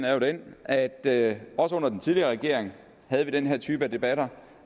er jo den at at også under den tidligere regering havde vi den her type debatter